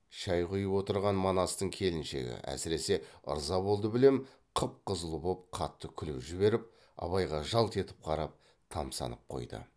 шай құйып отырған манастың келіншегі әсіресе ырза болды білем қып қызыл боп қатты күліп жіберіп абайға жалт етіп қарап тамсанып қойды